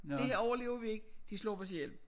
Det her overlever vi ikke de slår os ihjel